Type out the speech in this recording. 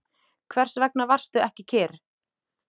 Hvers vegna varstu ekki kyrr?